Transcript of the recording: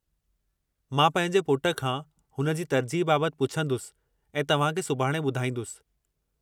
मां पंहिंजे पुट खां हुन जी तरजीह बाबति पुछन्दुसि ऐं तव्हां खे सुभाणे ॿधाईंदुसि।